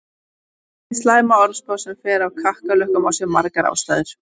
Hið slæma orðspor sem fer af kakkalökkum á sér margar ástæður.